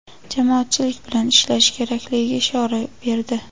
jamoatchilik bilan ishlashi kerakligiga ishora berdi.